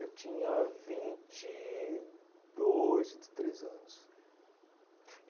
Eu tinha vinte e dois, vinte e três anos.